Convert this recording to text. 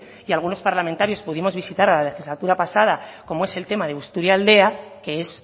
y algunos parlamentarios pudimos visitarla la legislatura pasada como es el tema de busturialdea que es